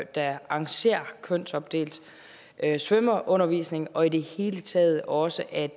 der arrangerer kønsopdelt svømmeundervisning og i det hele taget også at